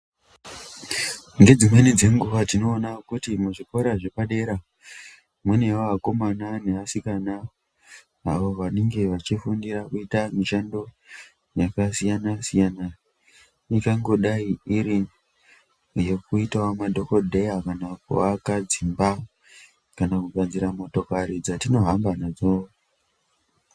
Ngedzimweni dzenguwa tinoona kuti muzvikora zvepadera munouya vakomana nevasikana avo vanenge vachifundira kuita mishando yakasiyana siyana inhangodai iri yekuitawo madhokodheya kana kuwaka dzimba kana kugadzira motokari dzatinohamba nadzo.